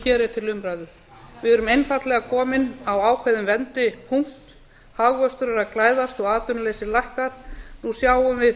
er til umræðu við erum einfaldlega komin á ákveðinn vendipunkt hagvöxtur er að glæðast og atvinnuleysi minnkar nú sjáum við